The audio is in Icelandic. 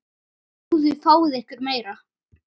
Góðu fáið ykkur meira.